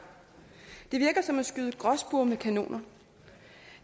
det virker som at skyde gråspurve med kanoner